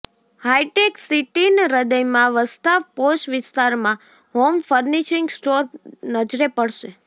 high tech સીટીન હ્રદયમાં વસતા પોશ વિસ્તારમાં હોમ ફર્નીશીંગ સ્ટોર નજરે પડશે